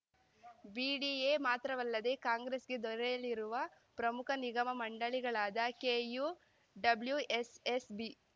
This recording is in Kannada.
ಬಿಡಿಎ ಮಾತ್ರವಲ್ಲದೆ ಕಾಂಗ್ರೆಸ್‌ಗೆ ದೊರೆಯಲಿರುವ ಪ್ರಮುಖ ನಿಗಮ ಮಂಡಳಿಗಳಾದ ಕೆಯುಡಬ್ಲುಎಸ್‌ಎಸ್‌ಬಿ